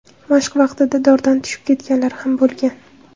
Mashq vaqtida dordan tushib ketganlar ham bo‘lgan .